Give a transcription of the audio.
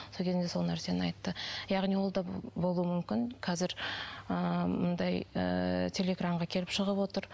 сол кезінде сол нәрсені айтты яғни ол да болуы мүмкін қазір ыыы мындай ыыы телеэкранға келіп шығып отыр